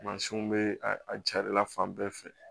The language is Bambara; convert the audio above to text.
Mansinw bɛ a jarila fan bɛɛ fɛ